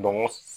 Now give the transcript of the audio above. Dɔnko